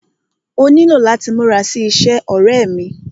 Ó nílò láti múra sí iṣẹ́, ọ̀rẹ́ ẹ́ mí.